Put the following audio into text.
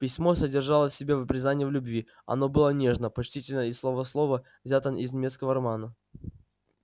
письмо содержало в себе признание в любви оно было нежно почтительно и слово в слово взято из немецкого романа